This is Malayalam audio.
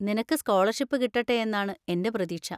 നിനക്ക് സ്കോളർഷിപ്പ് കിട്ടട്ടെയെന്നാണ് എൻ്റെ പ്രതീക്ഷ.